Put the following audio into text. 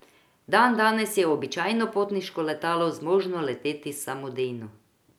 Dandanes je običajno potniško letalo zmožno leteti samodejno.